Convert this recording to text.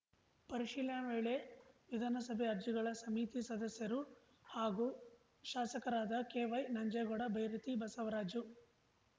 ಪರಿಶೀಲನೆ ವೇಳೆ ವಿಧಾನಸಭೆ ಅರ್ಜಿಗಳ ಸಮಿತಿ ಸದಸ್ಯರು ಹಾಗೂ ಶಾಸಕರಾದ ಕೆವೈನಂಜೇಗೌಡ ಬೈರತಿ ಬಸವರಾಜು